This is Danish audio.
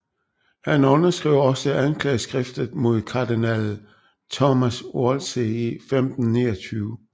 Han underskrev også anklageskriftet mod kardinal Thomas Wolsey i 1529